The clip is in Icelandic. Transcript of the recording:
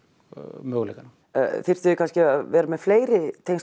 möguleikana þyrftuð þið kannski að vera með fleiri